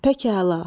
Pək əla.